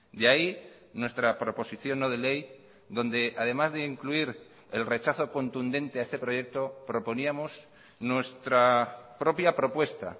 de ahí nuestra proposición no de ley donde además de incluir el rechazo contundente a este proyecto proponíamos nuestra propia propuesta